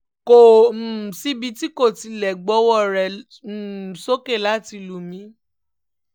kò um síbi tí kò ti lè gbowó rẹ̀ um sókè láti lù mí